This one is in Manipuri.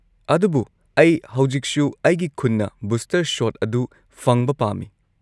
ꯑꯗꯨꯕꯨ ꯑꯩ ꯍꯧꯖꯤꯛꯁꯨ ꯑꯩꯒꯤ ꯈꯨꯟꯅ ꯕꯨꯁꯇꯔ ꯁꯣꯠ ꯑꯗꯨ ꯐꯪꯕ ꯄꯥꯝꯃꯤ꯫